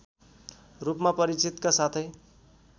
रूपमा परिचितका साथै